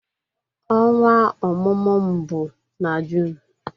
Ọnwa ọmụmụ m bụ na June